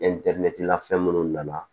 fɛn minnu nana